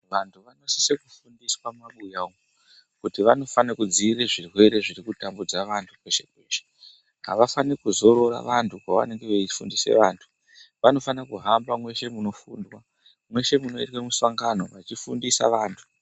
Vantu vanosise kufundiswa mumabuya umu kuti vanofanire kudzire zvirwere zviri kutambudza vanhu peshepeshe havafaniri kuzorora vantu pavanenge veifundisa vantu vanofanire kuhamba mweshe munoitwe mishangano veifundisa vantu.